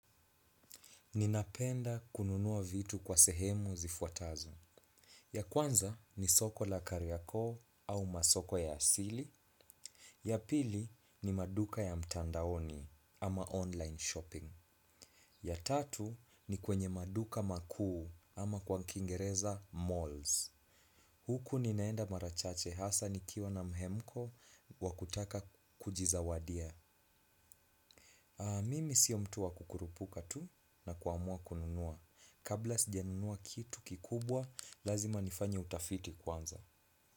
Ninapenda kununuwa vitu kwa sehemu zifuatazo. Ya kwanza ni soko la kariyako au masoko ya asili. Ya pili ni maduka ya mtandaoni ama online shopping. Ya tatu ni kwenye maduka makuu ama kwa kiingereza malls. Huku ninaenda mara chache hasa nikiwa na mhemko wa kutaka kujizawadia. Mimi siyo mtu wa kukurupuka tu na kuamua kununua. Kabla sijanunua kitu kikubwa, lazima nifanye utafiti kwanza.